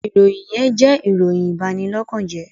ìròyìn yén jẹ́ ìròyìn Ìbanilọ́kànje